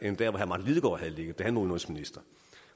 havde ligget da han var udenrigsminister